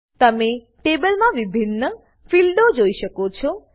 તમે ટેબલમાં વિભિન્ન ફીલ્ડો જોઈ શકો છો